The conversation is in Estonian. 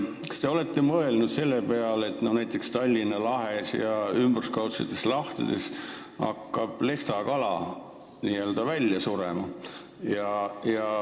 Kas te olete mõelnud selle peale, et näiteks Tallinna lahes ja ümberkaudsetes lahtedes hakkab lestakala välja surema?